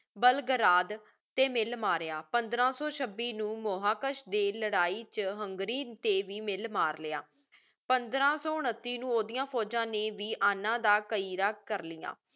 Belgrade ਟੀ ਮਿਲ ਮਰਯ ਪੰਦ੍ਰ ਸੋ ਛੱਬੀ ਨੂ ਮਹਾਕਿਸ਼ ਦੇ ਲੜਾਈ ਵਿਚ ਹੁੰਗ੍ਰੀ ਟੀ ਮਿਲ ਮਾਰ ਲਾਯਾ ਪੰਦ੍ਰ ਸੋ ਉਨੱਤੀ ਨੂ ਓਦਿਯਾਂ ਫੋਜਾਂ ਨੀ ਵਿਯਨਾ ਦਾ ਕਰ ਲ੍ਯ